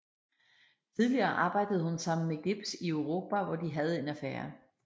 Tidligere arbejdede hun sammen med Gibbs i Europa og hvor de havde en affære